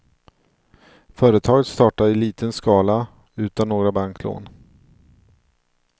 Företaget startade i liten skala, utan några banklån.